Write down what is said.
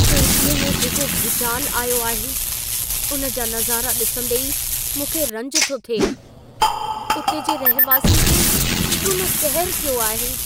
तुर्कीअ में जेको भूचाल आयो आहे, उन जा नज़ारा ॾिसंदी ई मूंखे रंज थो थिए। उते जे रहिवासियुनि ते केॾो न कहर थियो आहे।